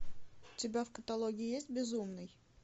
у тебя в каталоге есть безумный